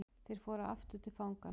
Þeir fóru aftur til fangans.